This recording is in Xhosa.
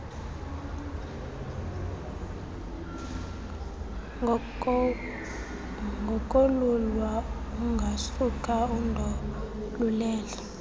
ngokolulwa ungasuka undolulele